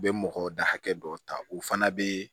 U bɛ mɔgɔ da hakɛ dɔw ta u fana bɛ